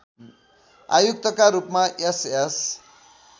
आयुक्तका रूपमा एसएस